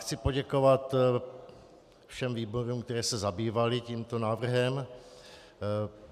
Chci poděkovat všem výborům, které se zabývaly tímto návrhem.